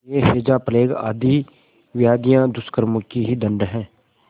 यह हैजाप्लेग आदि व्याधियाँ दुष्कर्मों के ही दंड हैं